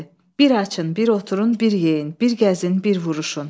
Bir açın, bir oturun, bir yeyin, bir gəzin, bir vuruşun.